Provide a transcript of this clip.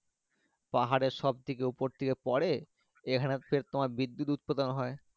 পাহাড়ের সব থাকে উপর থেকে পরে এখানে তোমার বিদ্যুৎ উৎপাদন হয়।